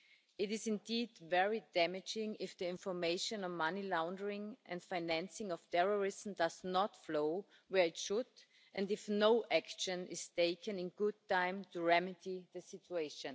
It is indeed very damaging if the information on money laundering and financing of terrorism does not flow where it should and if no action is taken in good time to remedy the situation.